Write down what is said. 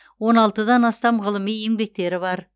он алтыдан астам ғылыми еңбектері бар